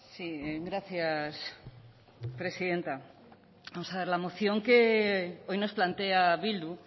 sí gracias presidenta vamos a ver la moción que hoy nos plantea bildu